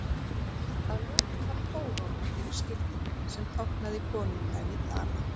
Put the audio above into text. Að lokum var kóróna yfir skildinum sem táknaði konungdæmi Dana.